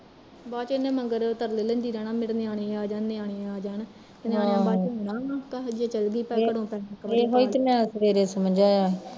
ਬਾਦ ਚ ਇਹਨੇ ਮਗਰ ਤਰਲੇ ਲੈਂਦੀ ਰਹਿਣਾ ਮੇਰੇ ਨਿਆਣੇ ਆ ਜਾਣ ਨਿਆਣੇ ਆ ਜਾਣ ਤੇ ਨਿਆਣਿਆ ਬਾਝੋਂ